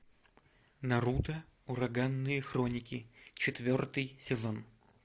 наруто ураганные хроники четвертый сезон